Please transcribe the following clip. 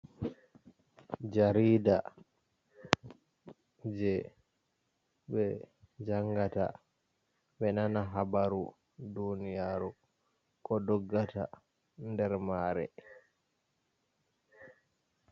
Jarida je ɓe jangata ɓe nana habaru duniyaru ko doggata nder mare.